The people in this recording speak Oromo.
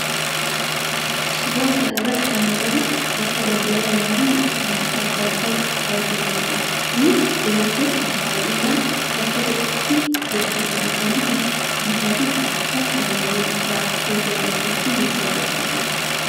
Suuraa kana irratti kan argamu bakka daldalaa namoonni itti wantoota addaa addaa gurguraa jiraniidha. Kunis dubartoonni baayyinaan bakka tokkotti heddumatanii bittaa fi gurgurtaa kan waliin raawwachaa jiran fakkii nutti agarsiisuudha.